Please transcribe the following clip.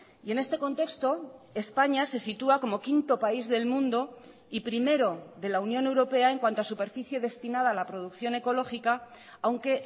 y en este contexto españa se sitúa como quinto país del mundo y primero de la unión europea en cuanto a superficie destinada a la producción ecológica aunque